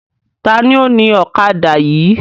Taàní ó ní ọ̀kadà yìí?